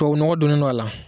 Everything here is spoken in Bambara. Tuwawu nɔgɔ donnen don a la